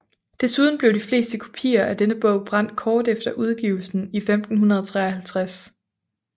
Desuden blev de fleste kopier af denne bog brændt kort efter udgivelsen i 1553